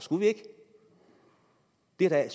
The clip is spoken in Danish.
det er jo